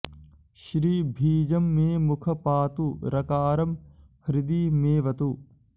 श्री बीजं मे मुख पातु रकारं हृदि मेऽवतु